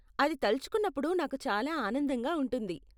అది తలచుకున్నప్పుడు నాకు చాలా ఆనందంగా ఉంటుంది.